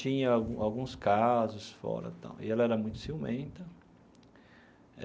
Tinha alguns casos fora tal, e ela era muito ciumenta.